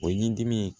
O yi dimi